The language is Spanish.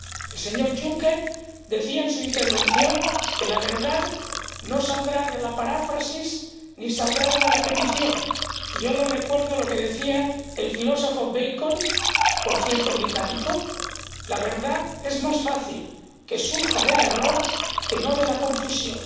El señor Juncker decía en su intervención que la verdad no saldrá de la paráfrasis ni de la repetición y yo le recuerdo lo que decía el filósofo Bacon, por cierto, británico La verdad surge más fácilmente del error que de la confusión.